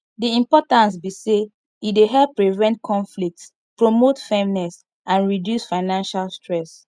di importance be say e dey help prevent conflicts promote fairness and reduce financial stress